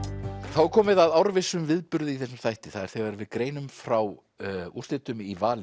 þá er komið að árvissum viðburði í þessum þætti það er þegar við greinum frá úrslitum í vali